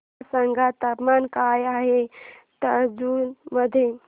मला सांगा तापमान काय आहे तंजावूर मध्ये